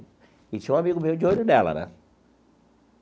E tinha um amigo meu de olho nela, né?